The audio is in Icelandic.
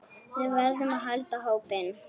Við verðum að halda hópinn!